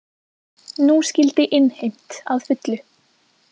Nú skyldi innheimt að fullu.